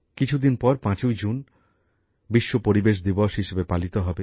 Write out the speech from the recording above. কিছুদিন পর ৫ই জুন বিশ্ব পরিবেশ দিবস হিসেবে পালিত হবে